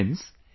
Friends,